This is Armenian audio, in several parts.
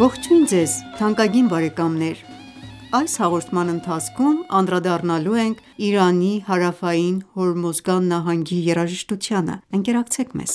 Ողջույն ձեզ թանկագին բարեկամներ: Այս հաղորդման ընթացքում անդրադառնալու ենք Իրանի հարավային Հորմոզգան նահանգի երաժշտությանը: Ընկերակցեք մեզ: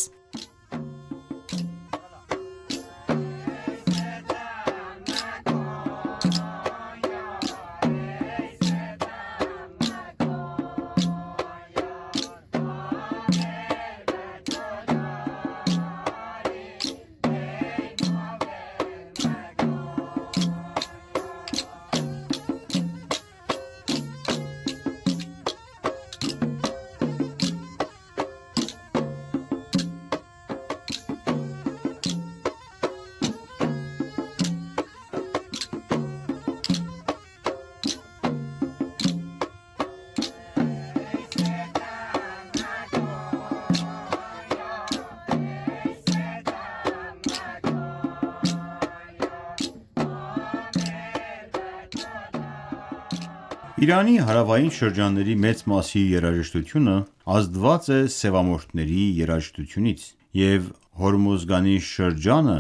Իրանի հարավային շրջանների մեծ մասի երաժշտությունը ազդված է սևամորթների երաժշտությունից և Հորմոզգանի շրջանը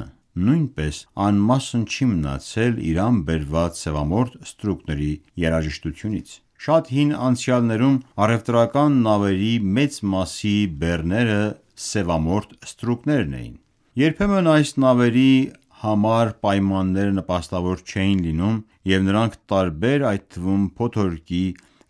նույնպես անմասն չի մնացել Իրան բերված սևամորթ ստրուկների երաժշտույթյունից: Շատ հին անցյալներում առևտրական նավերի մեծ մասի բեռները սևամորթ ստրուկներն էին: Երբեմն այս նավերի համար պայմանները նպաստավոր չէին լինում և նրանք տարբեր այդ թվում փոթորկի,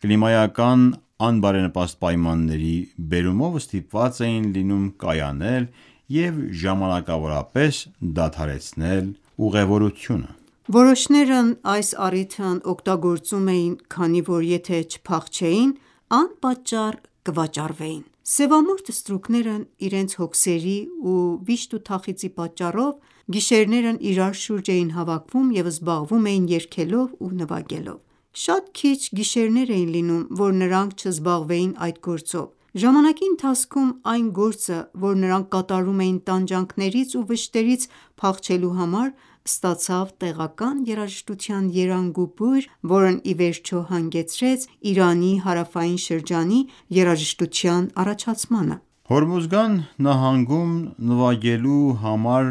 կլիմայական անբարենպաստ պայմանների բերումով ստիպված էին լինում կայանել և ժամանակավորապես դադարեցնել ուղևորությունը: Որոշներն այս առիթն օգտագործում էին, քանի որ եթե չփախչեին, անպատճառ կվաճառվեին: Սևամորթ ստրուկները իրենց հոգսերի ու վիշտ ու թախծի պատճառով գիշերներն իրար շուրջ էին հավաքվում և զբաղվում էին երգելով ու նվագելով: Շատ քիչ գիշերներ էին լինում, որ նրանք չզբաղվեին այդ գործով: Ժամանակի ընթացքում այն գործը, որ նրանք կատարում էին տանջանքներից ու վշտերից փախչելու համար ստացավ տեղական երաժշտության երանգ ու բույր, որն իվերջո հանգեցրեց իրանի հարավային շրջանի երաժշտության առաջացմանը: Հորմոզգան նահանգում նվագելու համար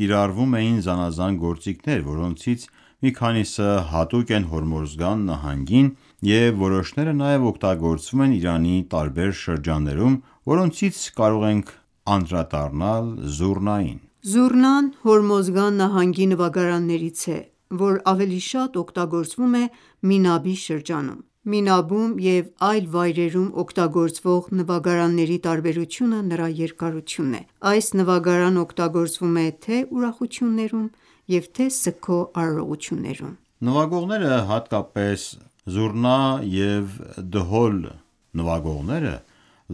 կիրառվում էին զանազան գործիքներ, որոնցից մի քանիսը հատուկ են Հորմոզգան նահանգին և որոշները նաև օգտագործվում են Իրանի տարբեր շրջաններում, որոնցից կարող ենք անդրադառնալ Զուռնային: Զուռնան Հորմոզգան նահանգի նվագարաններից է, որ ավելի շատ օգտագործվում է Մինաբի շրջանում: Մինաբում և այլ վայրերում օգտագործվող նվագարանների տարբերությունը նրա երկարությունն է: Այս նվագարանը օգտագործվում է թե ուրախություններում և թե սգո արարողություններում Նվագողները հատկապես զուռնա և դհոլ նվագողները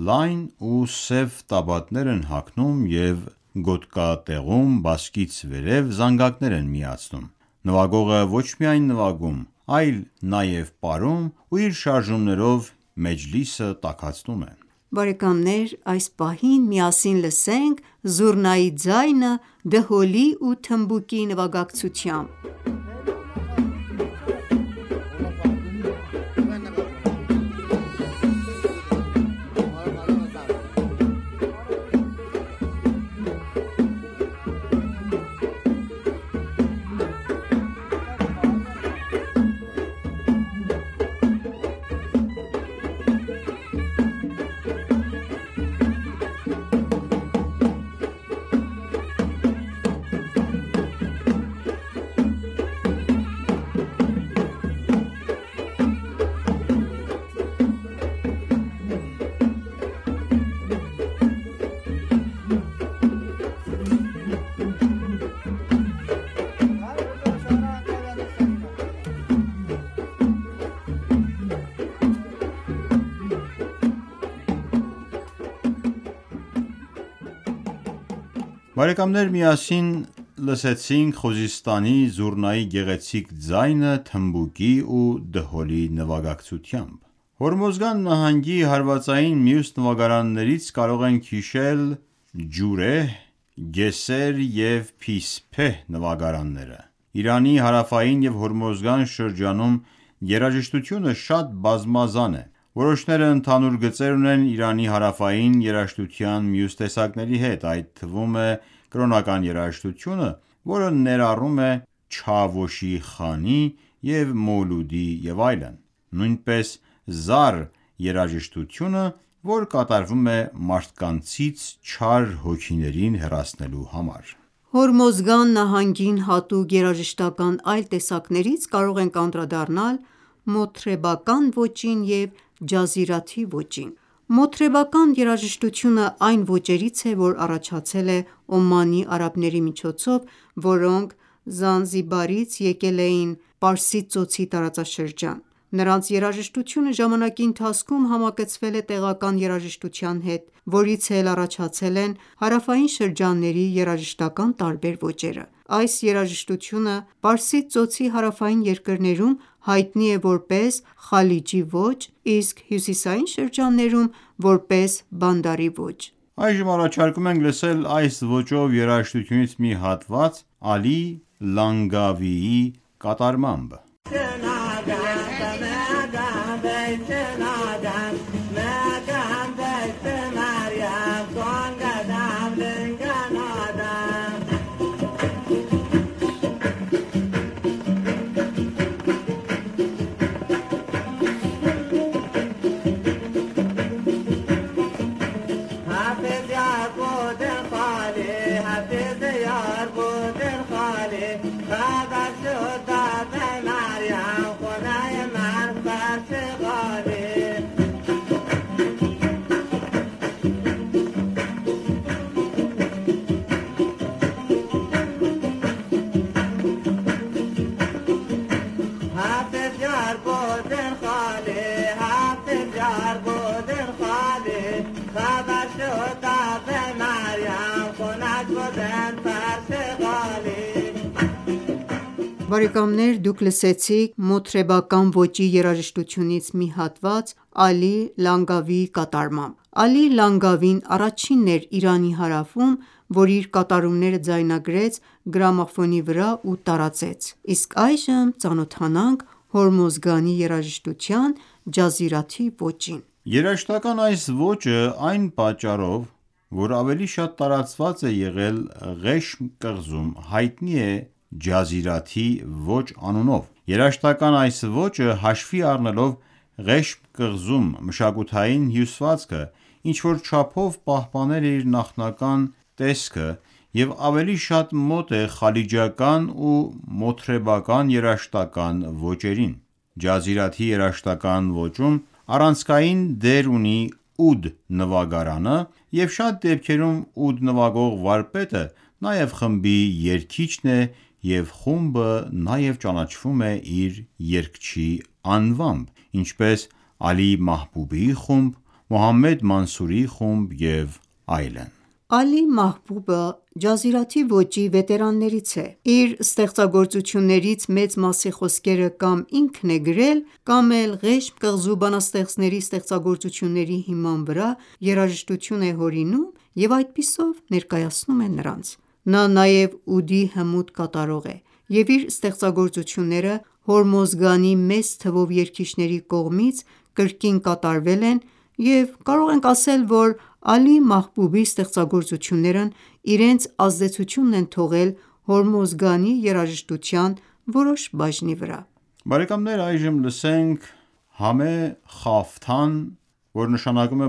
լայն ու սև տաբատներ են հագնում և գոտկատեղում՝ բասկից վերև զանգակներ են միացնում: Նվագողը ոչ միայն նվագում, այլ նաև պարում ու իր շարժումներով մեջլիսը տաքացնում է: Այս պահին միասին լսենք զուռնայի ձայնը դհոլի ու թմբուկի նվագակցությամբ: Միասին լսեցինք Խուզիստանի զուռնայի գեղեցիկ ձայնը թմբուկի ու դհոլի նվագակցությամբ: Հորմոզգան նահանգի հարվածային մյուս նվագարաններից կարող ենք հիշել «Ջուրեհ», «Գեսեր» և «Փիփեհ» նվագարանները: Իրանի հարավային և Հորմոզգան շրջանում երաժշտությունը շատ բազմազան է: Որոշները ընդհանուր գծեր ունեն Իրանի հարավային երաժշտության մյուս տեսակների հետ, այդ թվում է կրոնական երաժշտությունը, որ ներառում է Չավոշի Խանի և Մոլուդի և այլն: Նույնպես «Զար» երաժշտությունը, որ կատարվում է մարդկանցից չար հոգիներին հեռացնելու համար: Հորմոզգան նահանգին հատուկ երաժշտական այլ տեսակներից կարող ենք անդրադառնալ «Մոթրեբական ոճին» և «Ջազիրաթի ոճին»: Մոթրեբական երաժշտությունը այն ոճերից է, որ առաջացել է Օմանի արաբների միջոցով, որոնք Զանզիբարից եկել էին Պարսից Ծոցի տարածաշրջան: Նրանց երաժշտությունը ժամանակի ընթացքում համակցվել է տեղական երաժշտության հետ, որից էլ առաջացել են հարավային շրջանների երաժշտական տարբեր ոճերը: Այս երաժշտությունը Պարսից Ծոցի հարավային երկրներում հայտնի է որպես Խալիջի ոճ, իսկ հյուսիսային շրջաններում որպես Բանդարի ոճ: Այժմ առաջարկում ենք լսել այս ոճով երաժշտությունից մի հատված «Ալի Լանգավիի» կատարմամբ: Բարեկամների դուք լսեցիք մոթրեբական ոճի երաժշտությունից մի հատված «Ալի Լանգավիի« կատարմամբ: Ալի Լանգավին առաջինն էր Իրանի հարավում, որ իր կատարումները ձայնագրեց գրամաֆոնի վրա ու տարածեց: Իսկ այժմ ծանոթանանք Հորմոզգանի երաժշտության «Ջազրիաթի ոճին»: Երաժշտական այս ոճը այն պատճառով որ ավելի շատ տարածված է եղել Ղեշմ կղզում, հայտնի է «Ջազիրաթի ոճ» անունով: Երաժշտական այս ոճը, հաշվի առնելով Ղեշմ կղզում մշակութային հյուսվածքը ինչ-որ չափով պահպանել է իր նախնական տեսքը և ավելի շատ մոտ է խալիջական ու մոթրեբական երաժշտական ոճերին: Ջազրիաթի երաժշտական ոճում առանցքային դեր ունի ուդ նվագարանը և շատ դեպքերում ուդ նվագող վարպետը նաև խմբի երգիչն է և խումբը նաև ճանաչվում է իր երգչի անվամբ ինչպես Ալի Մահբուբի խումբը, Մոհամմեդ Մանսուրի խումբը և այլն... Ալի Մահբումբը Ջազիրաթի ոճի վետերաններից է: Իր ստեղծագործություններից մեծ մասի խոսքերը կամ ինքն է գրել, կամ էլ Ղեշմ կղզու բանաստեղծների ստեղծագործությունների հիման վրա երաժշտություն է հորինում և այդպիսով ներկայացնում է նրանց: Նա նաև ուդի հմուտ կատարող է և իր ստեղծագործությունները Հորմոզգանի մեծ թվով երգիչների կողմից կրկին կատարվել են և կարող ենք ասել, որ Ալի Մահբուբի ստեղծագործություններն իրենց ազդեցությունն են թողել Հորմոզգանի երաժշտության որոշ բաժնի վրա: Բարեկամներ այժմ լսենք «Համե Խաֆթան»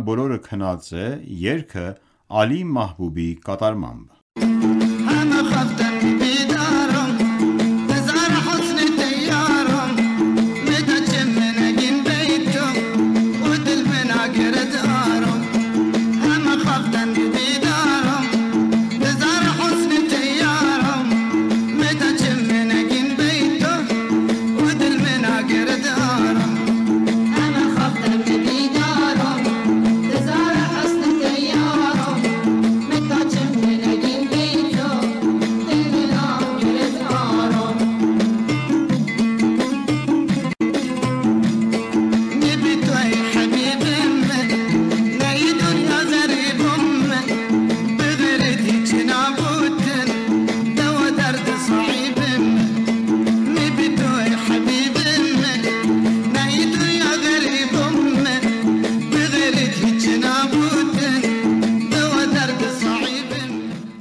(բոլորը քնած են) երգը «Ալի Մահբուբի» կատարմամբ: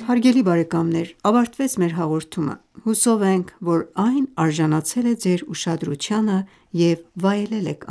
Հարգելի բարեկամներ ավարտվեց մեր հաղորդումը: Հուսով ենք, որ այն արժանացել է ձեր ուշադրությանը և վայելել եք